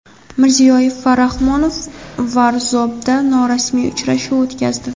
Mirziyoyev va Rahmon Varzobda norasmiy uchrashuv o‘tkazdi.